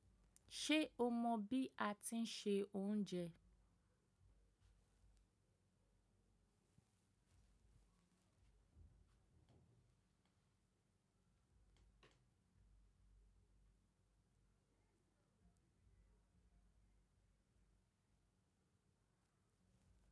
Ṣé o mọ bí a ti ń se oúnjẹ?